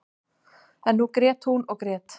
En nú grét hún og grét.